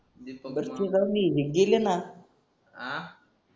आ